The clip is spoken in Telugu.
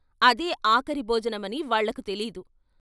అదే ఆఖరి భోజనమని వాళ్ళకు తెలీదు.